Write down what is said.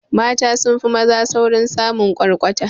Mata sunfi maza saurin samin kwarkwata